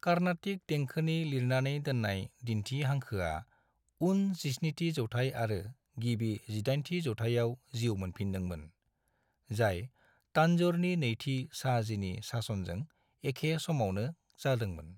कार्नाटिक देंखोनि लिरनानै दोननाय दिन्थि हांखोआ उन 17थि जौथाइ आरो गिबि 18थि जौथाइयाव जिउ मोनफिनदोंमोन, जाय तांजौरनि नैथि शाहजीनि सासनजों एखै समावनो जादोंमोन।